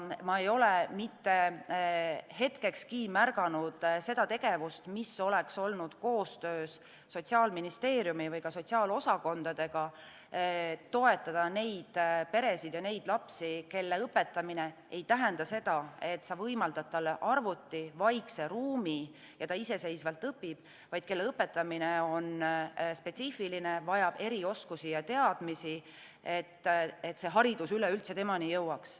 Ma ei ole mitte hetkekski märganud seda tegevust, mis oleks olnud koostöös Sotsiaalministeeriumi või ka sotsiaalosakondadega, et toetada neid peresid ja lapsi, kelle õpetamine ei tähenda seda, et sa võimaldad talle arvuti, vaikse ruumi ja ta iseseisvalt õpib, vaid kelle õpetamine on spetsiifiline, vajab erioskusi ja -teadmisi, et see haridus üleüldse temani jõuaks.